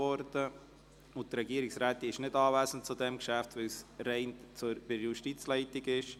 Die Regierungsrätin ist zu diesem Geschäft nicht anwesend, da es nur um die Justizleitung geht.